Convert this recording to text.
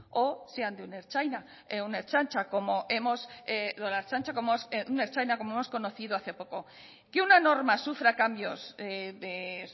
o sea de un ertzaina como hemos conocido hace poco que una norma sufra cambios de